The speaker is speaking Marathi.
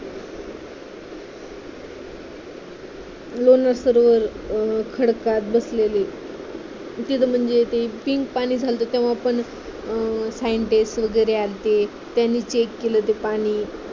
लोणार सरोवर खडकात बसलेले तिथं म्हणजे ते pink पाणी झालत तेव्हा पण scientist वेगैरे आलते त्यांनी check केलं ते पाणी